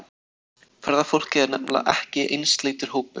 Ferðafólk er nefnilega ekki einsleitur hópur.